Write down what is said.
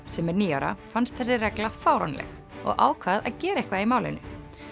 sem er níu ára fannst þessi regla fáránleg og ákvað að gera eitthvað í málinu